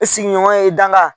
E sigi ɲɔgɔnya ye i danga.